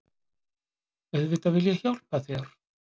Auðvitað vil ég hjálpa þér.